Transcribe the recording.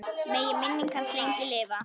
Megi minning hans lengi lifa.